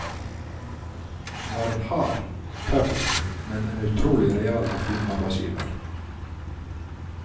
Han var en hard, tøff, men en utrolig real og fin arbeidsgiver.